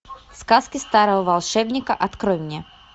сказки старого волшебника открой мне